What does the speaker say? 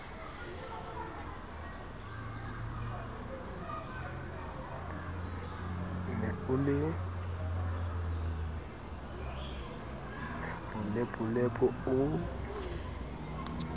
ne o le bolepolepo o